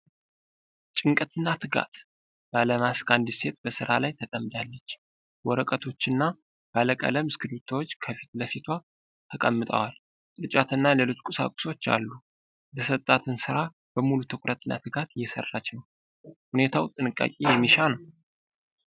ጭንቀትና ትጋት! ባለማስክ አንዲት ሴት በሥራ ላይ ተጠምዳለች። ወረቀቶችና ባለቀለም እስክሪቢቶዎች ከፊት ለፊቷ ተቀምጠዋል። ቅርጫትና ሌሎች ቁሳቁሶች አሉ። የተሰጣትን ሥራ በሙሉ ትኩረትና ትጋት እየሰራች ነው። ሁኔታው ጥንቃቄ የሚሻ ነው።